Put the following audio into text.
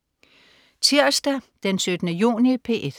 Tirsdag den 17. juni - P1: